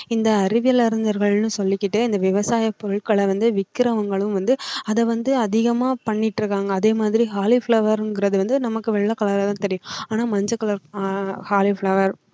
இந்த அறிவியல் அறிஞர்கள்னு சொல்லிக்கிட்டே இந்த விவசாய பொருட்களை வந்து விக்கிறவங்களும் வந்து அதை வந்து அதிகமா பண்ணிட்டு இருக்காங்க அதே மாதிரி காலிஃப்ளவர் என்கிறது வந்து நமக்கு வெள்ளை கலர் தான் தெரியும் ஆனா மஞ்ச கலர் ஆஹ் காலிஃப்ளவர்